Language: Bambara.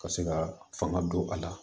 Ka se ka fanga don a la